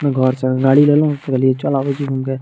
अ घर से गाड़ी गेलौं त कहलियेय चल अबैय छी घुमिके।